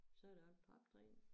Så det op trappetrin